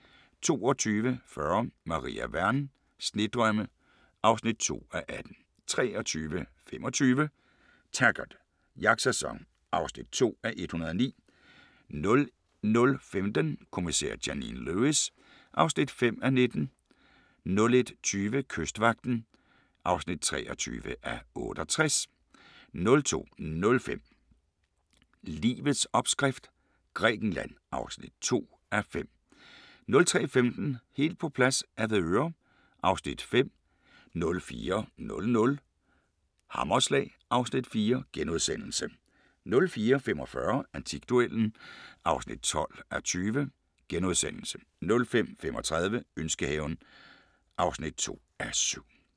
22:40: Maria Wern: Snedrømme (2:18) 23:25: Taggart: Jagtsæson (2:109) 00:15: Kommissær Janine Lewis (5:19) 01:20: Kystvagten (23:68) 02:05: Bonderøven 2015 (8:10)* 02:35: Livets opskrift – Grækenland (2:5) 03:15: Helt på plads - Avedøre (Afs. 5) 04:00: Hammerslag (Afs. 4)* 04:45: Antikduellen (12:20)* 05:35: Ønskehaven (2:7)